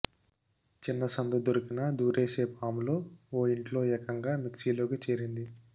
చిన్న సందు దొరికినా దూరేసే పాములు ఓ ఇంట్లో ఏకంగా మిక్సీలోకి చేరింది